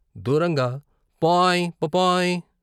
దూరంగా "పాయ్.... ప... పపాయ్.